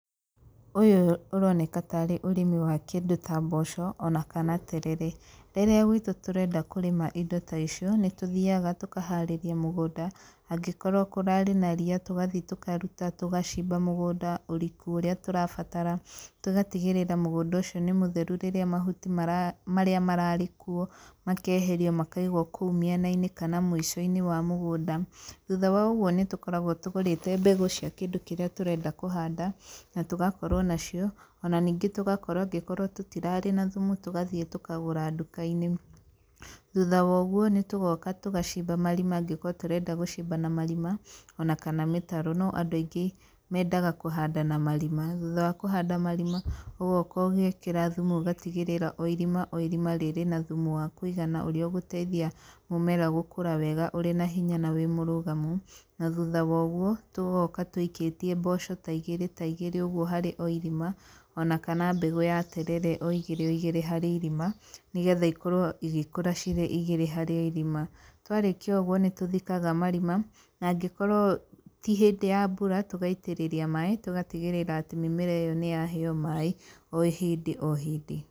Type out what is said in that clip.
Ũyũ ũroneka tarĩ ũrĩmi wa kĩndũ ta mboco, ona kana terere. Rĩrĩa gwitũ tũrenda kũrĩma indo ta icio, nĩ tũthiaga tũkaharĩrĩa mũgũnda, angĩkorwo kũrarĩ na ria, tũgathi tũkaruta tũgacimba mũgũnda ũriku ũrĩa tũrabatara, tũgatigĩrĩra mũgũnda ũcio nĩ mũtheru rĩrĩa mahuti marĩa mararĩ kuo makeherio makaigwo kũu mĩena-inĩ kana mũico-inĩ wa mũgũnda. Thutha wa ũguo nĩ tũkoragwo tũgũrĩte mbegũ cia kĩndũ kĩrĩa tũrenda kũhanda, na tũgakorwo nacio, ona ningĩ tũgakorwo angĩkorwo tũtirarĩ na thumu tũgathiĩ tũkagũra nduka-inĩ. Thutha wa ũguo, nĩ tũgoka tũgacimba marima angĩkorwo tũrenda gũcimba na marima, ona kana mĩtaro no andũ aingĩ mendaga kũhanda na marima. Thutha wa kũhanda marima, ũgoka ũgekĩra thumu ũgatigĩrĩra o irima o irima rĩrĩ na thumu wa kũigana ũrĩa ũgũteithia mũmera gũkũra wega ũrĩ na hinya na wĩ mũrũgamu. Na thutha wa ũguo, tũgoka tũikĩtie mboco ta igĩrĩ ta igĩrĩ ũguo harĩ o irima, ona kana mbegũ ya terere o igĩrĩ o igĩrĩ harĩ o irima, nĩgetha ikorwo igĩkũra irĩ igĩrĩ harĩ o irima. Twarĩkia ũguo nĩ tũthikaga marima, na angĩkorwo ti hindĩ ya mbura, tũgaitĩrĩria maĩ, tũgatigĩrĩra atĩ mĩmera ĩyo nĩ yaheo maĩ o hĩndĩ o hĩndĩ.